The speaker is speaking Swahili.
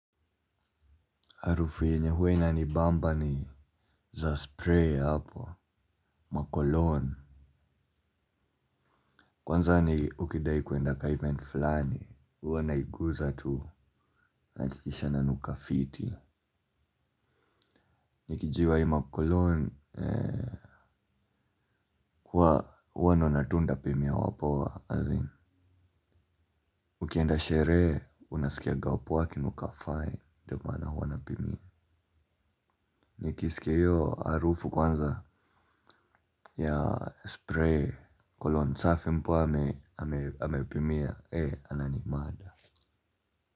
Harufu yenye huwa inanibamba ni za spray hapo, makolon. Kwanza ni ukidai kuenda kwa event fulani, huwa naiguza tu. Nahakikisha nanuka fiti. Nikijiwa hii makolon huwa naona tu nitapimia wapoa. Ukienda sherehe, unasikia wapoa wakinuka fine. Ndiyo maana huwa na pimia. Nikisikia hiyo harufu kwanza ya spray, kolon safi mpoa amepimia. E ananimada husikii.